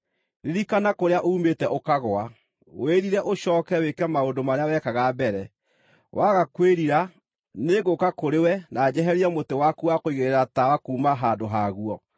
Ririkana kũrĩa uumĩte ũkagũa! Wĩrire ũcooke wĩke maũndũ marĩa wekaga mbere. Waga kwĩrira, nĩngũũka kũrĩ we na njeherie mũtĩ waku wa kũigĩrĩra tawa kuuma handũ haguo.